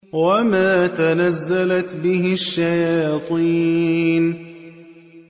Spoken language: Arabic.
وَمَا تَنَزَّلَتْ بِهِ الشَّيَاطِينُ